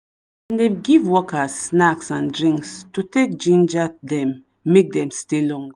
dem dey give workers snacks and drinks to take ginger them make them stay long